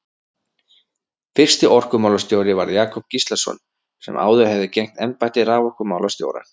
Fyrsti orkumálastjóri varð Jakob Gíslason sem áður hafði gegnt embætti raforkumálastjóra.